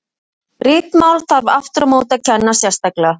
Ritmál þarf aftur á móti að kenna sérstaklega.